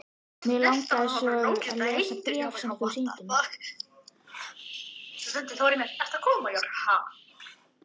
Mig langar svo að lesa bréfin sem þú sýndir mér.